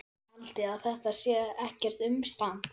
Haldiði að þetta sé ekkert umstang?